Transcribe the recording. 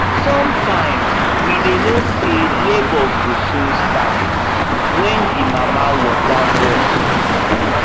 sometimes we dy know say labour go soon start when the mama water burst